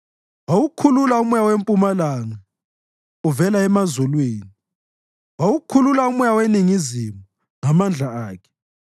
Wawukhulula umoya wempumalanga uvela emazulwini, wawukhulula umoya weningizimu ngamandla akhe.